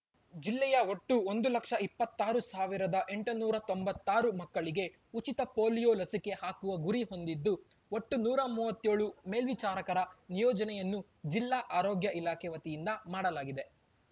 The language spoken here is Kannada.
ಜಿಲ್ಲೆಯ ಒಟ್ಟು ಒಂದು ಲಕ್ಷ ಇಪ್ಪತ್ತಾರು ಸಾವಿರದ ಎಂಟುನೂರ ತೊಂಬತ್ತಾರು ಮಕ್ಕಳಿಗೆ ಉಚಿತ ಪೊಲೀಯೋ ಲಸಿಕೆ ಹಾಕುವ ಗುರಿ ಹೊಂದಿದ್ದು ಒಟ್ಟು ನೂರ ಮೂವತ್ಯೋಳು ಮೇಲ್ವಿಚಾರಕರ ನಿಯೋಜನೆಯನ್ನು ಜಿಲ್ಲಾ ಆರೋಗ್ಯ ಇಲಾಖೆ ವತಿಯಿಂದ ಮಾಡಲಾಗಿದೆ